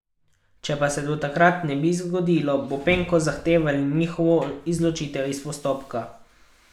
Če pa se do takrat ne bi zgodilo, bo Penko zahtevali njihovo izločitev iz postopka.